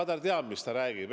Ta teab, mida ta räägib.